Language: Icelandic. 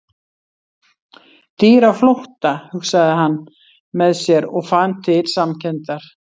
Dýr á flótta, hugsaði hann með sér, og fann til samkenndar.